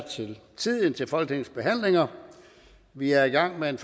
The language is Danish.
til tiden til folketingets behandlinger vi er i gang med en